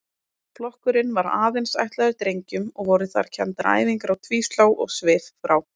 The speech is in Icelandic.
Flokkurinn var aðeins ætlaður drengjum og voru þar kenndar æfingar á tvíslá og svifrá.